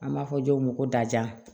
An b'a fɔ dɔw ma ko daja